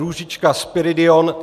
Růžička Spiridion